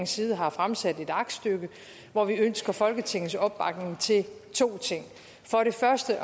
side har fremsat et aktstykke hvor vi ønsker folketingets opbakning til to ting for det første at